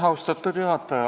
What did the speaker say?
Austatud juhataja!